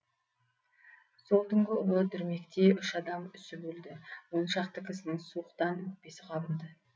сол түнгі ұлы дүрмекте үш адам үсіп өлді он шақты кісінің суықтан өкпесі қабынды